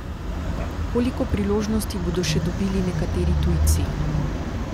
Koliko priložnosti bodo še dobili nekateri tujci?